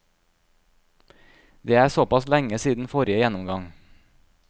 Det er såpass lenge siden forrige gjennomgang.